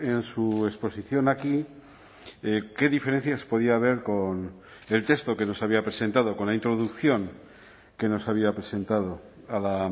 en su exposición aquí qué diferencias podía haber con el texto que nos había presentado con la introducción que nos había presentado a la